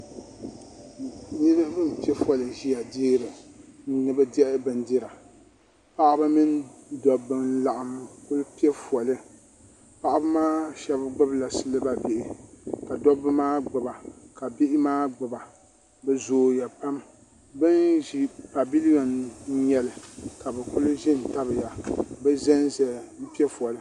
niriba n pɛƒɔli ʒɛya ni be dihi bɛnidira paɣ' ba mɛni da ba laɣim zaya ni be dihi bɛnidira paɣ' ba maa shɛbi gbanila siliba bihi ka duba maa gbaba bihi maa gbaba be zuya pam bɛni ʒɛ paviliyɔn n nyɛli ka bɛ kuli ʒɛ tabiya n pɛƒɔli